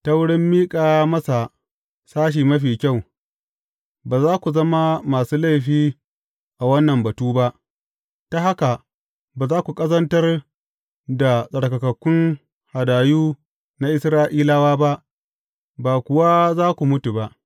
Ta wurin miƙa masa sashi mafi kyau, ba za ku zama masu laifi a wannan batu ba; ta haka ba za ku ƙazantar da tsarkakakkun hadayu na Isra’ilawa ba, ba kuwa za ku mutu ba.